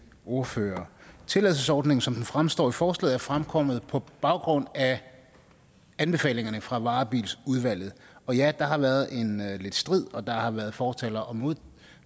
ordførere tilladelsesordningen som den fremstår i forslaget er fremkommet på baggrund af anbefalingerne fra varebilsudvalget og ja der har været lidt strid og der har været fortalere og